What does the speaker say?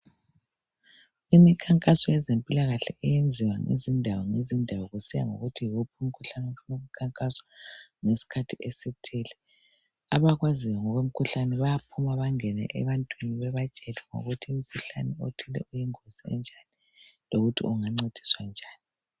Imikhankaso yezempilakahle iyenziwa ngezindawo ngezindawo kusiya ngokuthi yiwuphi umkhuhlane ofuna ukukhankaswa ngesikhathi esithile. Abakwazi ngokwemikhuhlane bayaphuma bangene ebantwini babatshele ngokuthi umkhuhlane othile uyingozi enjalo lokuthi bangabancedisa njani.